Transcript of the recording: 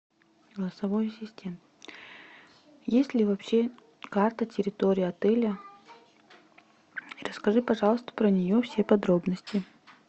голосовой ассистент есть ли вообще карта территории отеля и расскажи пожалуйста про нее все подробности